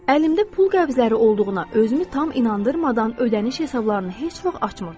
Əlimdə pul qəbzləri olduğuna özümü tam inandırmadan ödəniş hesablarını heç vaxt açmırdım.